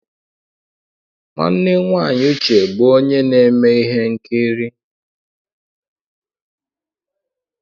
Nwanne nwaanyị Uche bụ onye na-eme ihe nkiri.